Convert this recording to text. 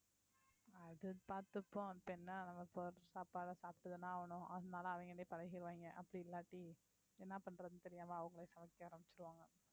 அது பாத்துப்போம் அது என்ன நம்ப போடற சாப்டா சாப்பிட்டு தான ஆகணும் அதனால அவங்களயே பழகிருவாங்க அப்படி இல்லாட்டி என்ன பண்றதுன்னு தெரியாம அவங்களே சமைக்க ஆரம்பிச்சிடுவாங்க